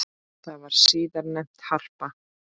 Það var síðar nefnt Harpa.